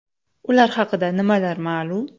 Ular haqida nimalar ma’lum?